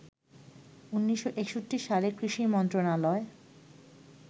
১৯৬১ সালে কৃষি মন্ত্রণালয়